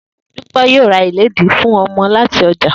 Dúpé̩ yóò ra iledìí fún o̩mo̩ láti o̩jà